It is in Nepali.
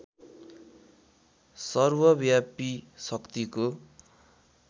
सर्वव्यापी शक्तिको